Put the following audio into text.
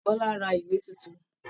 Bọla rà ìwé títún.